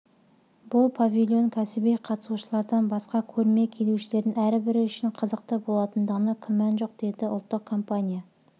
бұл павильон кәсіби қатысушылардан басқа көрме келушілерінің әрбірі үшін қызықты болатындығына күмән жоқ деді ұлттық компания